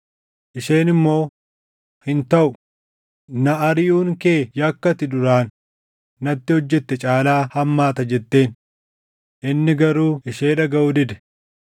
Isheen immoo, “Hin taʼu! Na ariʼuun kee yakka ati duraan natti hojjette caalaa hammaata” jetteen. Inni garuu ishee dhagaʼuu dide.